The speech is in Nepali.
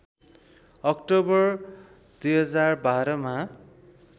अक्टोवर २०१२मा